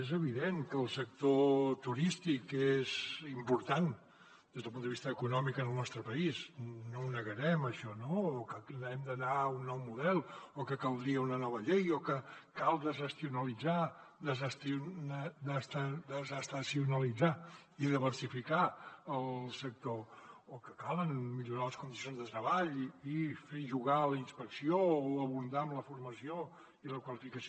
és evident que el sector turístic és important des del punt de vista econòmic en el nostre país no ho negarem això no o que hem d’anar a un nou model o que caldria una nova llei o que cal desestacionalitzar i diversificar el sector o que cal millorar les condicions de treball i fer jugar la inspecció o abundar en la formació i la qualificació